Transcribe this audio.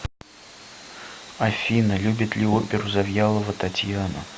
афина любит ли оперу завьялова татьяна